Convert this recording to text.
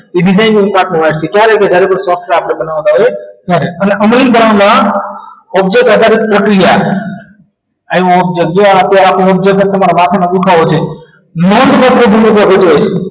એ designing થઈ ત્યારે જ્યારે આપણે કોઈ software બનાવતા હોય ત્યારે અને અમુક કામના object આધારિત પ્રક્રિયા આવ object જુઓ અત્યારે આપણે object માથાનો દુખાવો છે નોંધપાત્ર ભૂલો ત્યાં થતી હોય છે